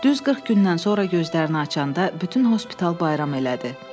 40 gündən sonra gözlərini açanda bütün hospital bayram elədi.